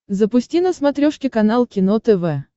запусти на смотрешке канал кино тв